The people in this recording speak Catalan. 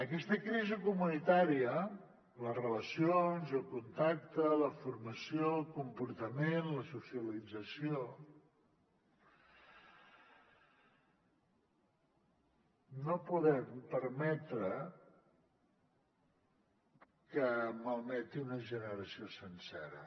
aquesta crisi comunitària les relacions el contacte la formació el comportament la socialització no podem permetre que malmeti una generació sencera